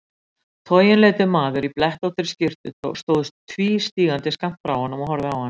Toginleitur maður í blettóttri skyrtu stóð tvístígandi skammt frá honum og horfði á hann.